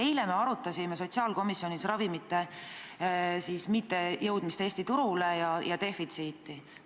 Eile arutasime sotsiaalkomisjonis ravimite mittejõudmist Eesti turule ja nende defitsiiti.